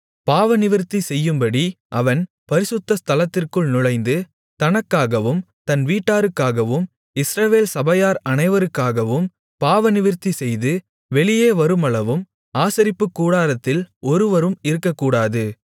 பாவநிவிர்த்தி செய்யும்படி அவன் பரிசுத்த ஸ்தலத்திற்குள் நுழைந்து தனக்காகவும் தன் வீட்டாருக்காகவும் இஸ்ரவேல் சபையார் அனைவருக்காகவும் பாவநிவிர்த்தி செய்து வெளியே வருமளவும் ஆசரிப்புக்கூடாரத்தில் ஒருவரும் இருக்கக்கூடாது